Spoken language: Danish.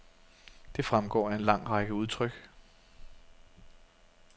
Det fremgår af en lang række udtryk.